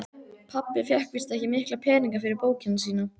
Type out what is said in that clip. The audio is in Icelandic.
Pabbi fékk víst ekki mikla peninga fyrir bókina sína.